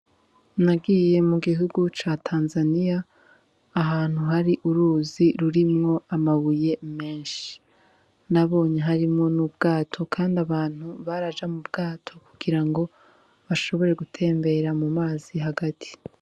Nagiye mu gihugu ca Tanzania ahantu hari uruzi rurimwo amabuye meshi nabonye harimwo n'ubwato kandi abantu baraja mu bwato ku girango bashobore gutembera mu mazi hagati.